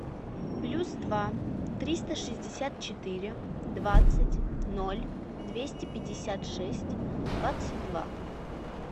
плюс два триста шестьдесят четыре двадцать ноль двести пятьдесят шесть двадцать два